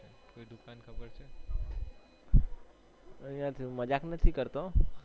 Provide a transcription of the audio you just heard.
મજ્જાક નથી કરતો